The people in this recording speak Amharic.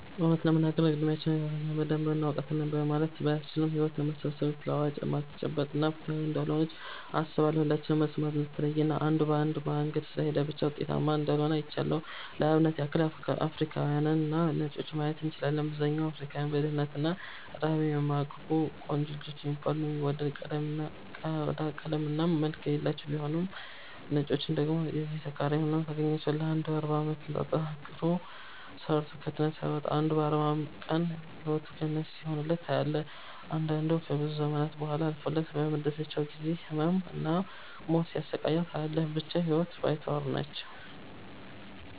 እውነት ለመናገር እድሚያችን ህይወትን በደንብ እናውቃታለን ለማለት ባያስችልም ህይወት ውስብስብ፣ ተለዋዋጭ፣ የማትጨበጥ እና ፍትሃዊ እንዳልሆነች አስባለው። የሁላችንም መስመር የተለየ እና አንዱ በአንዱ መንገድ ስለሄደ ብቻ ውጤታማ እንዳልሆነ አይቻለው። ለአብነት ያክል አፍሪካውያንንና ነጮችን ማየት እንችላለን። በአብዛኛው አፍሪካውያን በድህነት እና ረሃብ የሚማቅቁ፤ ቆንጆ የሚባል እና የሚወደድ ቆዳ ቀለም እና መልክ የሌላቸው ቢሆኑም ነጮችን ደግሞ የዚህ ተቃራኒ ሁነው ታገኛቸዋለህ። አንዱ 40 አመታትን ጠንክሮ ሰርቶ ከድህነት ሳይወጣ አንዱ በ 40 ቀን ህይወቱ ገነት ሲሆንለት ታያለህ። አንዳንዱ ከብዙ ዘመናት ቡሃላ አልፎለት በመደሰቻው ጊዜ ህመም እና ሞት ሲያሰቃየው ታያለህ። ብቻ ህይወት ባይተዋር ነች።